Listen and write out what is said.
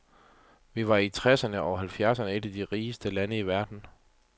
Vi var i tresserne og halvfjerdserne et af de rigeste lande i verden.